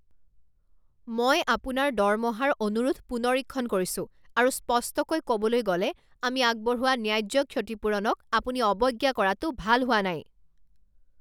মই আপোনাৰ দৰমহাৰ অনুৰোধ পুনৰীক্ষণ কৰিছোঁ আৰু স্পষ্টকৈ ক'বলৈ গ'লে, আমি আগবঢ়োৱা ন্যায্য ক্ষতিপূৰণক আপুনি অৱজ্ঞা কৰাটো ভাল হোৱা নাই।